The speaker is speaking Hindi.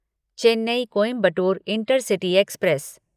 Chennai Coimbatore intercity express